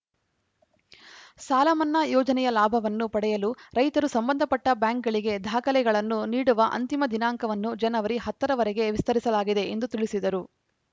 ಸಾಲಮನ್ನಾ ಯೋಜನೆಯ ಲಾಭವನ್ನು ಪಡೆಯಲು ರೈತರು ಸಂಬಂಧಪಟ್ಟಬ್ಯಾಂಕ್‌ಗಳಿಗೆ ದಾಖಲೆಗಳನ್ನು ನೀಡುವ ಅಂತಿಮ ದಿನಾಂಕವನ್ನು ಜನವರಿ ಹತ್ತರವರೆಗೆ ವಿಸ್ತರಿಸಲಾಗಿದೆ ಎಂದು ತಿಳಿಸಿದರು